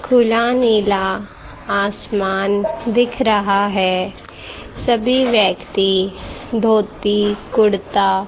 खुला नीला आसमान दिख रहा है सभी व्यक्ति धोती कुडता --